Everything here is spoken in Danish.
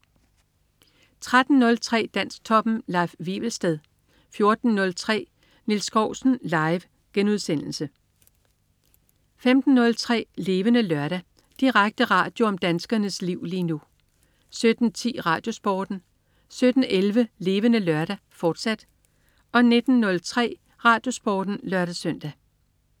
13.03 Dansktoppen. Leif Wivelsted 14.03 Nils Skousen. Live* 15.03 Levende Lørdag. Direkte radio om danskernes liv lige nu 17.10 RadioSporten 17.11 Levende Lørdag, fortsat 19.03 RadioSporten (lør-søn)